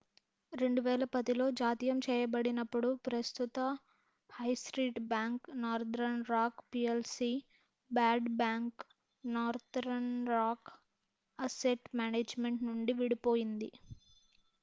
2010లో జాతీయం చేయబడినప్పుడు ప్రస్తుత high street bank Northern Rock plc bad bank' Northern Rock asset management నుండి విడిపోయింది